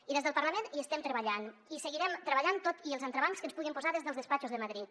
i des del parlament hi estem treballant i hi seguirem treballant tot i els entrebancs que ens puguin posar des dels despatxos de madrid